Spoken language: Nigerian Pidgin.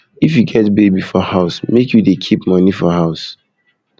if you get baby for house make you dey keep moni for house